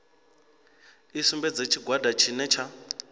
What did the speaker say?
i sumbedze tshigwada tshine tsha